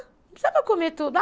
Não precisava comer tudo.